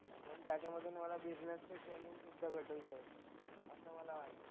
आणि त्याच्यामधून मला बिझनेसचे ट्रेनिंग सुद्धा भेटून जाईल असं मला वाटतं.